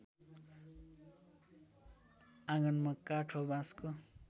आँगनमा काठ वा बाँसको